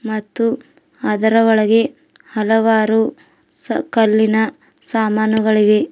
ಮತ್ತು ಅದರ ಒಳಗೆ ಹಲವಾರು ಕಲ್ಲಿನ ಸಾಮಾನುಗಳಿವೆ.